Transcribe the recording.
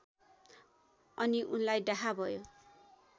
अनि उनलाई डाहा भयो